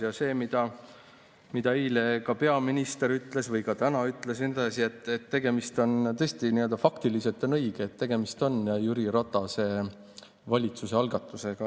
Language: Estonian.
Ja see, mida peaminister eile või ka täna ütles – tõesti, nii-öelda faktiliselt on õige, et tegemist on Jüri Ratase valitsuse algatusega.